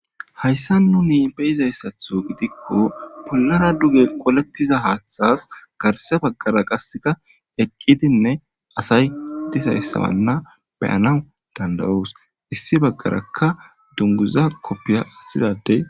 Haysan nuni bei'za mala gidiko.bollara duge qoleththiza haththas garsa bagara qaseka eqidine dizaysane asay bea'naw dandao's issi bagaraka dunguza koppiya athida ade